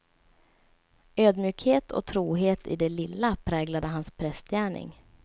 Ödmjukhet och trohet i det lilla präglade hans prästgärning.